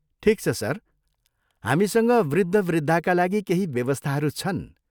ठिक छ, सर। हामीसँग वृद्धवृद्धाका लागि केही व्यवस्थाहरू छन्।